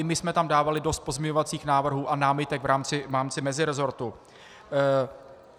I my jsme tam dávali dost pozměňovacích návrhů a námitek v rámci meziresortu.